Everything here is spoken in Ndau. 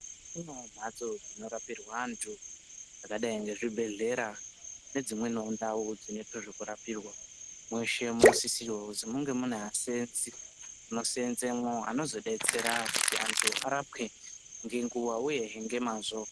Kune mhatso dzinorapirwe antu dzakadayi ngezvibhedhlera nedzimweniwo ndau dzinoitwe zvekurapirwa mweshe munosisirwa kuzi munge mune vaseenzi aanoseenzemwo anozodetsera kuti antu arapwe ngenguwa uyehe ngemazvo.